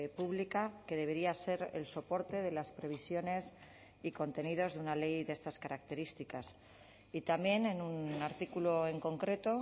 pública que debería ser el soporte de las previsiones y contenidos de una ley de estas características y también en un artículo en concreto